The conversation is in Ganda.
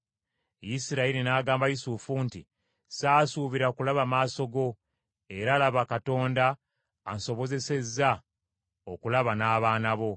Isirayiri n’agamba Yusufu nti, “Saasuubira kulaba maaso go; era laba Katonda ansobozesezza okulaba n’abaana bo.”